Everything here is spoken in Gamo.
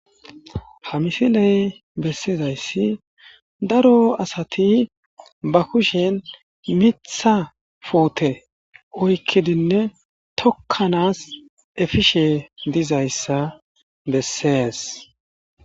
Ha misiley bessizayssi daro asati ba kushen mitha puute oykkidinne tokkanas efishe dizayssa bessees.